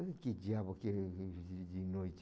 Olha que diabo que é de de noite.